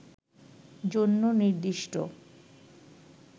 জন্য নির্দিষ্ট